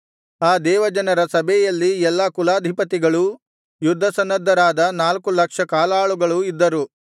ಆ ದೇವಜನರ ಸಭೆಯಲ್ಲಿ ಎಲ್ಲಾ ಕುಲಾಧಿಪತಿಗಳೂ ಯುದ್ಧಸನ್ನದ್ಧರಾದ ನಾಲ್ಕು ಲಕ್ಷ ಕಾಲಾಳುಗಳೂ ಇದ್ದರು